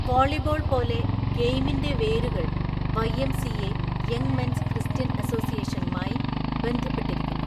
Volleyball പോലെ, ഗെയിമിന്റെ വേരുകൾ വൈ.എം.സി.എ. (യംഗ് മെൻസ് ക്രിസ്ത്യൻ അസോസിയേഷൻ)മായി ബന്ധപ്പെട്ടിരിക്കുന്നു.